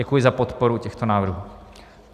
Děkuji za podporu těchto návrhů.